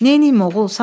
Neyləyim, oğul?